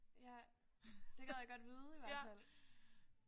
Ja. Det gad jeg godt vide i hvert fald